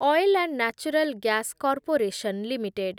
oil and natural gas corporation limited